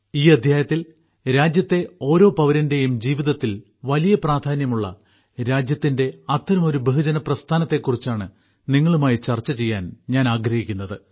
ഈ അദ്ധ്യായത്തിൽ രാജ്യത്തെ ഓരോ പൌരന്റെയും ജീവിതത്തിൽ വലിയ പ്രാധാന്യമുള്ള രാജ്യത്തിന്റെ അത്തരമൊരു ബഹുജന പ്രസ്ഥാനത്തെക്കുറിച്ചാണ് നിങ്ങളുമായി ചർച്ച ചെയ്യാൻ ഞാൻ ആഗ്രഹിക്കുന്നത്